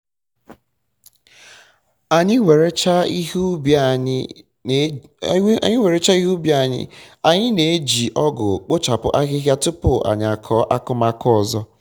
anyị werecha werecha ihe ubi anyị na-eji ọgụ kpochapụ ahịhịa tụpụ anyị akọọ akụmakụ ọzọ